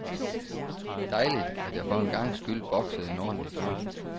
Dejligt, at jeg for en gangs skyld boksede en ordentlig kamp.